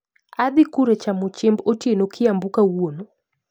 Adhii kure chamo chiemb otieno kiambu kawuono?